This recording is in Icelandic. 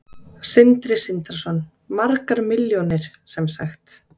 Sindri Sindrason: Margar milljónir sem sagt?